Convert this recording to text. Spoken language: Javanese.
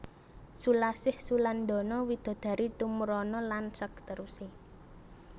Sulasih sulandana widodari tumuruna lan sakteruse